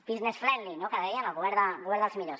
business friendly no que deien el govern dels millors